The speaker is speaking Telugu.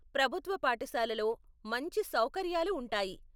ప్రభుత్వ పాఠశాలలో మంచి సౌకర్యాలు ఉంటాయి.